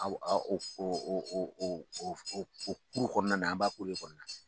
Aw o kɔnɔna na an b'a de kɔnɔna na